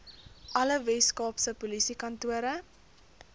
alle weskaapse polisiekantore